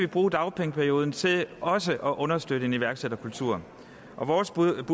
bruge dagpengeperioden til også at understøtte en iværksætterkultur vores bud